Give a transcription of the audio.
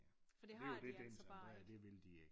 Det jo det det er integreret at det vil de ikke